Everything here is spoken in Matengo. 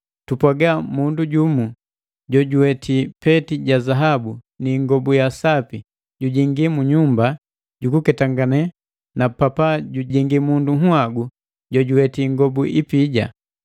Tupwaaga mundu jumu jojuweti peti ja zaabu ni ingobu ya sapi jujingi munyumba jukuketangane na papa jujingi mundu nhagu jojuweti ingobu ipija.